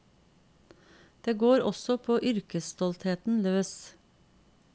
Det går også på yrkesstoltheten løs.